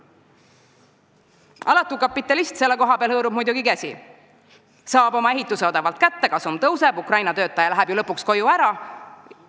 Alatu kapitalist hõõrub selle koha peal muidugi käsi – tema saab oma ehituse odavalt kätte, kasum tõuseb, Ukraina töötaja läheb ju lõpuks ära koju.